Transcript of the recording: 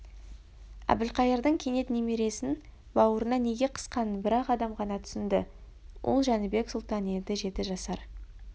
әбілқайырдың кенет немересін бауырына неге қысқанын бір-ақ адам ғана түсінді ол жәнібек сұлтан еді жеті жасар